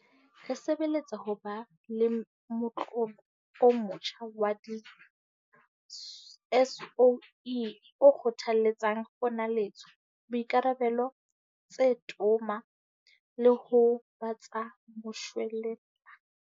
Re sebeletsa ho ba le motlolo o motjha wa di-SOE o kgothaletsang ponaletso, boikarabelo tse toma le ho ba tsa moshwelella.